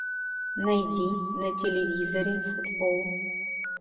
найди на телевизоре футбол